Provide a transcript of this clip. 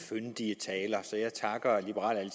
fyndige taler så jeg takker liberal